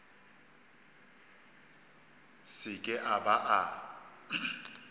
se ke a ba a